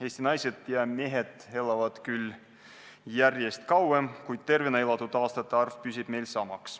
Eesti naised ja mehed elavad küll järjest kauem, kuid tervena elatud aastate arv püsib meil sama.